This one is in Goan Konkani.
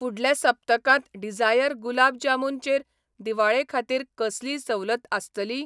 फुडल्या सप्तकांत डिझायर गुलाब जामुन चेर दिवाळे खातीर कसलीय सवलत आसतली?